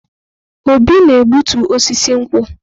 Obi na-egbutu osisi nkwu.